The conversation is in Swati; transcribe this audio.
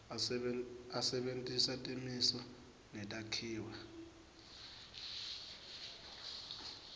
asebentisa timiso netakhiwo